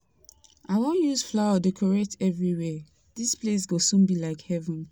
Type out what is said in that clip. I wan use flower decorate everywhere. Dis place go soon be like heaven.